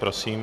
Prosím.